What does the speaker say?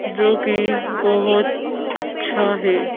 जो कि बहुत अच्छा है।